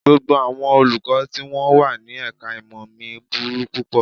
Gbogbo àwọn Olùkọ́ tí wọ́n wà ní ẹ̀ka-ìmọ̀ mi burú púpọ̀